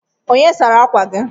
Onye sara akwa gị?